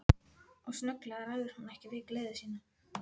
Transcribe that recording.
Og snögglega ræður hún ekki við gleði sína.